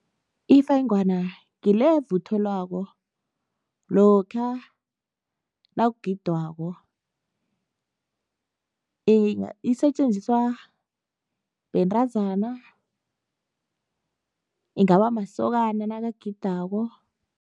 Ifengwana ngile evuthelwako lokha nakugidwako, isetjenziswa bentazana, ingaba masokana nakagidako.